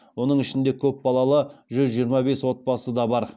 оның ішінде көпбалалы жүз жиырма бес отбасы да бар